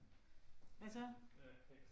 Hvad så